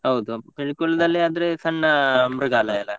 ಹೌದು, Pilikula ದಲ್ಲಿ ಆದ್ರೆ ಸಣ್ಣ ಮೃಗಾಲಯ ಅಲ್ಲಾ?